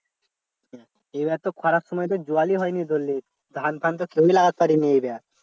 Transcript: এবার তো খরার সময় তো জলই হয়নি ধরলে ধান ফান তো কেউই লাগাতে পারেনি এবার